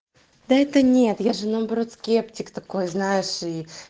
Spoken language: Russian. да это нет я же наоборот скептик такой знаешь и